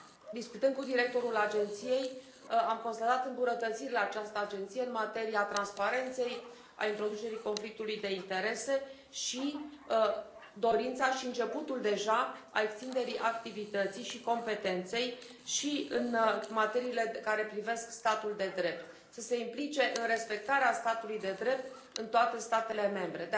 Discutând cu directorul Agenției, am constatat îmbunătățiri la această agenție în materia transparenței, a introducerii conflictului de interese și dorința și începutul deja al extinderii activității și competenței și în materiile care privesc statul de drept să se implice în respectarea statului de drept în toate statele membre.